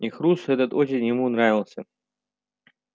и хруст этот очень ему нравился